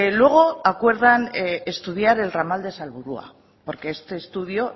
luego acuerdan estudiar el ramal de salburua porque este estudio